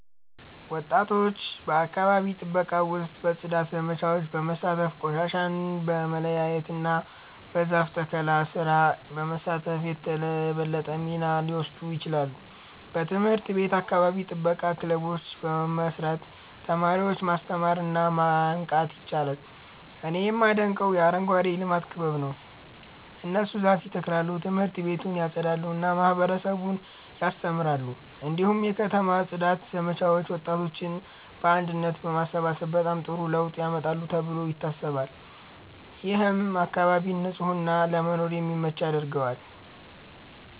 ወጣቶች በአካባቢ ጥበቃ ውስጥ በጽዳት ዘመቻዎች በመሳተፍ፣ ቆሻሻን በመለያየት እና በዛፍ ተከላ ስራ በመሳተፍ የበለጠ ሚና ሊወስዱ ይችላሉ። በትምህርት ቤት የአካባቢ ጥበቃ ክበቦችን በመመስረት ተማሪዎችን ማስተማር እና ማንቃት ይቻላል። እኔ የማደንቀው የአረንጓዴ ልማት ክበብ ነው። እነሱ ዛፍ ይተክላሉ፣ ት/ቤቱን ያጸዳሉ እና ማህበረሰቡን ያስተምራሉ። እንዲሁም የከተማ ጽዳት ዘመቻዎች ወጣቶችን በአንድነት በማሰባሰብ በጣም ጥሩ ለውጥ ያመጣሉ ተብሎ ይታሰባል። ይህም አካባቢን ንጹህ እና ለመኖር የሚመች ያደርገዋል።